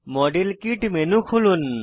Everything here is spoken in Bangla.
মডেল কিট মেনু খুলুন